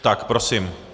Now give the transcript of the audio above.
Tak prosím.